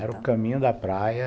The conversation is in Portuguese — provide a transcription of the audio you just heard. Sim, era o caminho da praia.